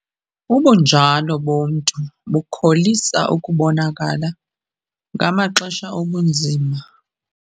Ubunjalo bomntu bukholisa ukubonakala ngamaxesha obunzima.